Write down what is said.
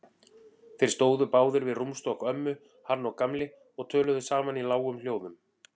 Þeir stóðu báðir við rúmstokk ömmu, hann og Gamli, og töluðu saman í lágum hljóðum.